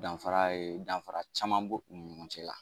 Danfara ye danfara caman bɔ u ni ɲɔgɔn cɛ la.